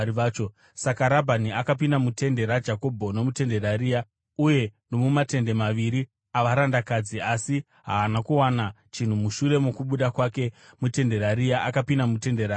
Saka Rabhani akapinda mutende raJakobho nomutende raRea uye nomumatende maviri avarandakadzi, asi haana kuwana chinhu. Mushure mokubuda kwake mutende raRea, akapinda mutende raRakeri.